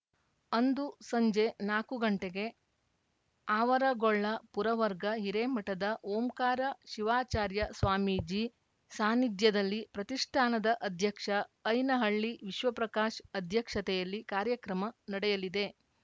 ಅಂದು ಸಂಜೆ ನಾಕು ಗಂಟೆಗೆ ಆವರಗೊಳ್ಳ ಪುರವರ್ಗ ಹಿರೇಮಠದ ಓಂಕಾರ ಶಿವಾಚಾರ್ಯ ಸ್ವಾಮೀಜಿ ಸಾನ್ನಿಧ್ಯದಲ್ಲಿ ಪ್ರತಿಷ್ಠಾನದ ಅಧ್ಯಕ್ಷ ಐನಹಳ್ಳಿ ವಿಶ್ವಪ್ರಕಾಶ್ ಅಧ್ಯಕ್ಷತೆಯಲ್ಲಿ ಕಾರ್ಯಕ್ರಮ ನಡೆಯಲಿದೆ